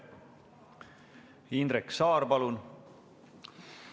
Indrek Saar, palun!